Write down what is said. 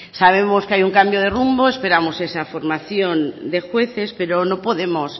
sabemos que hay un cambio de rumbo esperamos que esa formación de jueces pero no podemos